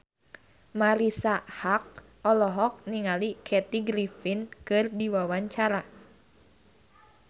Marisa Haque olohok ningali Kathy Griffin keur diwawancara